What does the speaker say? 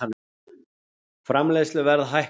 Framleiðsluverð hækkar